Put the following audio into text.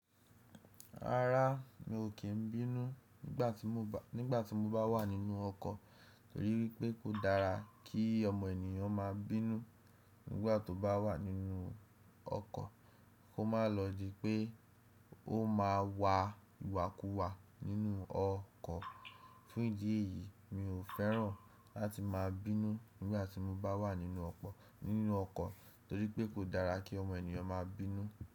Rárá, mi ò kí n bínú nígbà tí mo bá nígbà tí mo bá wà nínú ọkọ̀ torí pé kò dára kí ọmọ ènìyàn máa bínú nígbà tó bá wà nínú ọkọ̀ kó má lọ di pé ó ma wà ìwàkuwà nínú ọkọ̀. Fún ìdí èyí, mi ò fẹ́ràn láti máa bínú nígbà tí mo bá wà nínú ọpọ̀ nínú ọkọ̀ torí pé kò dára kí ọmọ ènìyàn máa bínú.